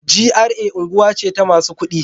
GRA unguwa ce ta masu ƙuɗi.